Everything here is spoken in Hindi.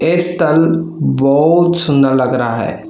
इस बहुत सुंदर लग रहा है।